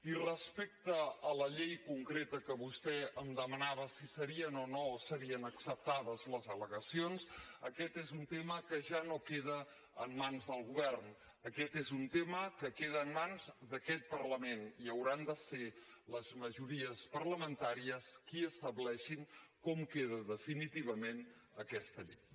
i respecte a la llei concreta que vostè em demanava si serien o no serien acceptades les al·legacions aquest és un tema que ja no queda en mans del govern aquest és un tema que queda en mans d’aquest parlament i hauran de ser les majories parlamentàries qui estableixin com queda definitivament aquesta llei